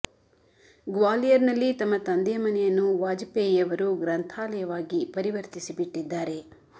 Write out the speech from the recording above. ಗ್ವಾಲಿಯರ್ ನಲ್ಲಿ ತಮ್ಮ ತಂದೆಯ ಮನೆಯನ್ನು ವಾಜಪೇಯಿಯವರು ಗ್ರಂಥಾಲಯವಾಗಿ ಪರಿವರ್ತಿಸಿ ಬಿಟ್ಟಿದ್ದಾರೆ